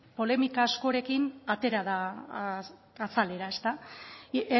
polemika askorekin atera da azalera